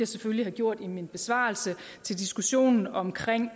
selvfølgelig have gjort i min besvarelse til diskussionen omkring